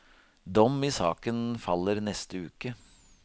Dom i saken faller neste uke.